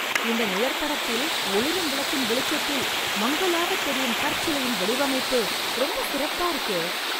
இந்த நிழற்படத்தில், ஒளிரும் விளக்கின் வெளிச்சத்தில், மங்கலாக தெரியும் கற்சிலையின் வடிவமைப்பு, ரொம்ப சிறப்பா இருக்கே...